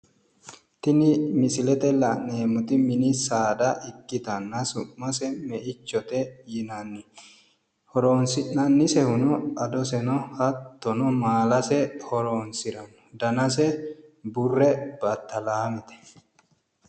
Tini misilete la'neemmoti mini saada ikkitanna su'mase meichote yinanni. Horoonsi'nannisehuno adoseno hattono maalase horoonsiranno. Danase burre battalaamete.